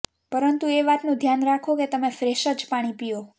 પરંતુ એ વાતનું ધ્યાન રાખો કે તમે ફ્રેશ જ પાણી પીઓ